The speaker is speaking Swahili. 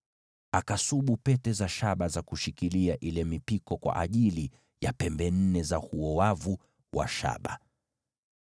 Akasubu pete za shaba za kushikilia ile mipiko kwa ajili ya zile pembe nne za huo wavu wa shaba.